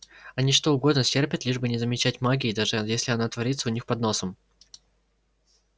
они что угодно стерпят лишь бы не замечать магии даже если она творится у них под носом